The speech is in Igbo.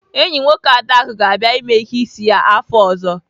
Enyi nwoke Adaku ga-abịa ème ihe ísí ya afọ ọ̀zọ́.